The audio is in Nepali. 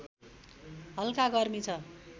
हल्का गर्मी छ